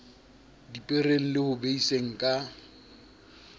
dipereng le ho beiseng ka